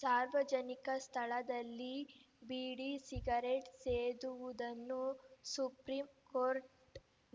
ಸಾರ್ವಜನಿಕ ಸ್ಥಳದಲ್ಲಿ ಬೀಡಿ ಸಿಗರೇಟ್‌ ಸೇದುವುದನ್ನು ಸುಪ್ರೀಂಕೋರ್ಟ್‌